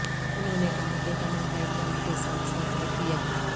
انہوں نے کہا کہ تمام پائپ لائن کے ساتھ ساتھ رکھ دیا